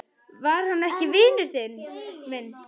Var hann ekki vinur minn?